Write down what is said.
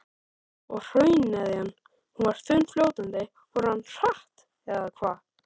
Og hrauneðjan, hún var þunnfljótandi og rann hratt eða hvað?